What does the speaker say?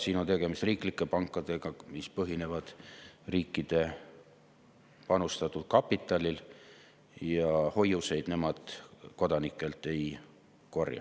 Siin on tegemist riiklike pankadega, mis põhinevad riikide panustatud kapitalil, ja hoiuseid nemad kodanikelt ei korja.